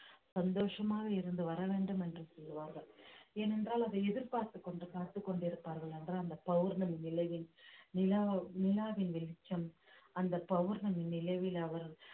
சந்தோஷமாக இருந்து வர வேண்டும் என்று கூறுவார்கள் ஏனென்றால் அதை எதிர்பார்த்துக் கொண்டு காத்துக் கொண்டிருப்பார்கள் என்றால் அந்த பௌர்ணமி நிலவின் நிலா நிலாவின் வெளிச்சம் அந்தப் பௌர்ணமி நிலவில் அவர்